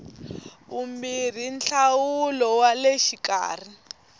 vumbirhi nhlawulo wa le xikarhi